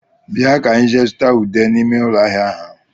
Bịa ka enyi jee zụta ude n'ime ụlọ ahịa ahụ